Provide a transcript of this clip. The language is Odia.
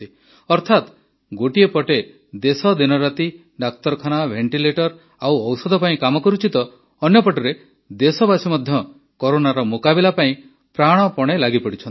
ଅର୍ଥାତ୍ ଗୋଟିଏ ପଟେ ଦେଶ ଦିନରାତି ଡାକ୍ତରଖାନା ଭେଣ୍ଟିଲେଟର ଆଉ ଔଷଧ ପାଇଁ କାମ କରୁଛି ତ ଅନ୍ୟପଟେ ଦେଶବାସୀ ମଧ୍ୟ କରୋନାର ମୁକାବିଲା ପାଇଁ ପ୍ରାଣପଣେ ଲାଗିପଡ଼ିଛନ୍ତି